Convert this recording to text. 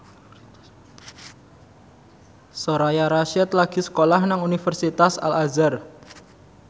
Soraya Rasyid lagi sekolah nang Universitas Al Azhar